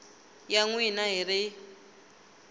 ya n wina hi ri